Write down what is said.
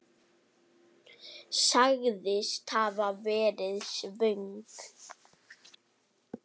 Sagðist hafa verið svöng.